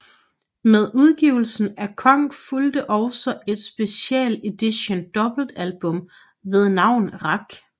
Med udgivelsen af Konk fulgte også et special edition dobbeltalbum ved navn Rak